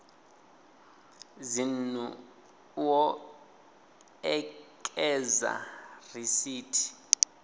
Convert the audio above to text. dzinnu u o ekedza risithi